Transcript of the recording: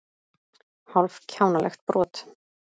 Hálf kjánalegt brot.